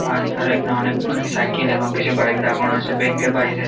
আর তার আগে অনেক অনেক সাইকেল আর কিছু বাইক দাঁড় করানো আছে ব্যাঙ্ক এর বাইরে--